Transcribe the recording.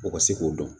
O ka se k'o dɔn